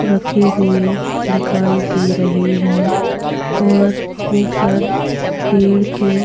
रखे हुए दिखाई दे रहे है और ऊपर पेड़ की --